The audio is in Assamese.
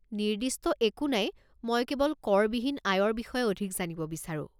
নিৰ্দিষ্ট একো নাই মই কেৱল কৰ বিহীন আয়ৰ বিষয়ে অধিক জানিব বিচাৰো।